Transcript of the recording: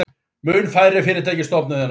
Mun færri fyrirtæki stofnuð en áður